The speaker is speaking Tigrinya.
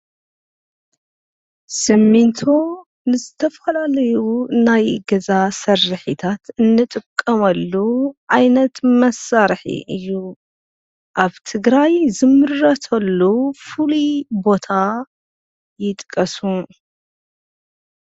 ስሚንቶ ንዝተፈላለዩ ናይ ገዛ ስርሒታት እንጥቐመሉ ዓይነት መሳርሒ እዩ። ኣብ ትግራይ ዝምረተሉ ፍሉይ ቦታ ይጥቀሱ?